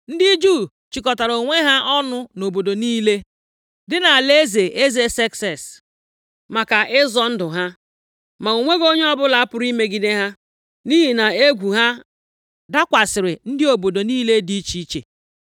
Ndị Juu chịkọtara onwe ha ọnụ nʼobodo niile dị nʼalaeze eze Sekses, maka ịzọ ndụ ha. Ma o nweghị onye ọbụla pụrụ imegide ha, nʼihi na egwu ha dakwasịrị ndị obodo niile dị iche iche.